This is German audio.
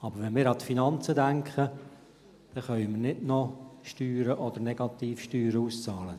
Aber wenn wir an die Finanzen denken, können wir nicht noch Steuern oder Negativsteuern auszahlen.